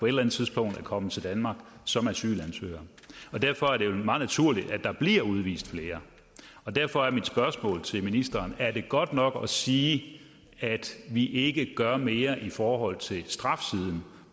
eller andet tidspunkt er kommet til danmark som asylansøgere derfor er det vel meget naturligt at der bliver udvist flere derfor er mit spørgsmål til ministeren er det godt nok at sige at vi ikke gør mere i forhold til strafsiden